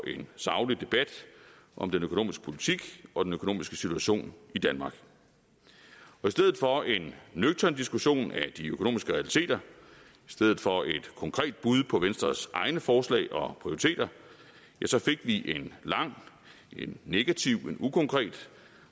en saglig debat om den økonomiske politik og den økonomiske situation i danmark i stedet for en nøgtern diskussion af de økonomiske realiteter i stedet for et konkret bud på venstres egne forslag og prioriteter ja så fik vi en lang negativ ukonkret